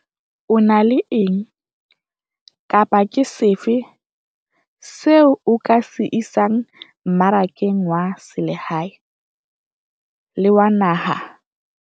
O na le eng, kapa ke sefe seo o ka se isang mmarakeng wa selehae, le wa naha?